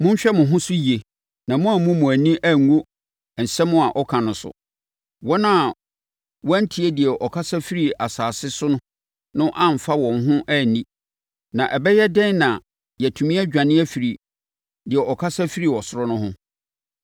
Monhwɛ mo ho so yie na moammu mo ani angu asɛm a ɔka so. Wɔn a wɔantie deɛ ɔkasa firii asase so no amfa wɔn ho anni. Na ɛbɛyɛ dɛn na yɛatumi adwane afiri deɛ ɔkasa firi ɔsoro no ho?